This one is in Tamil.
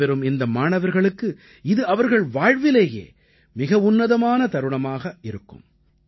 வெற்றி பெறும் இந்த மாணவர்களுக்கு இது அவர்கள் வாழ்விலேயே மிக உன்னதமான தருணமாக இருக்கும்